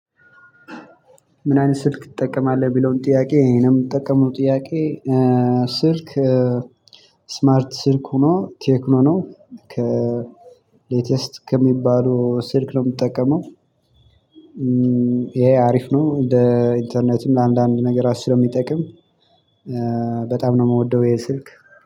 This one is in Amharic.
ምን አይነት ስልክ ትጠቀማለህ ሚለውም ጥያቄ ይሄንም የምጠቀመው ጥያቄ? ስልክ ስማርት ስልክ ሆኖ ቴክኖ ነው ከ ሌተስት ከሚባለው ስልክ ነው የምጠቀመው። እ ይሄ አሪፍ ነው ለ ኢንተርኔትም ለአንዳንድ ነገራቶች ስለሚጠቅም ስለሚጠቅም። በጣም ነው የምወደው ይሄ ስልክ።